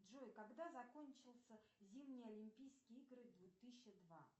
джой когда закончился зимние олимпийские игры две тысячи два